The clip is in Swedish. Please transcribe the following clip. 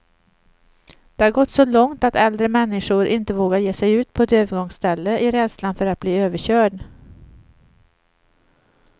Det har gått så långt att äldre människor inte vågar ge sig ut på ett övergångsställe, i rädslan för att bli överkörd.